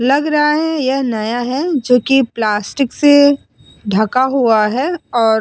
लग रहा है यह नया है जो कि प्लास्टिक से ढका हुआ है और --